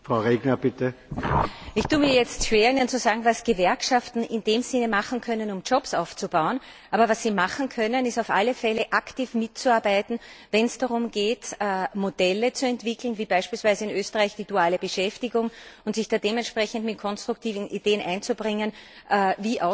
Ich tue mich jetzt schwer damit, Ihnen zu sagen, was Gewerkschaften in dem Sinne machen können, um Jobs zu schaffen. Aber was sie machen können, ist auf alle Fälle, aktiv mitzuarbeiten, wenn es darum geht, Modelle zu entwickeln wie beispielsweise in Österreich die duale Beschäftigung und sich da dementsprechend mit konstruktiven Ideen einzubringen, wie Ausbildung aussehen kann.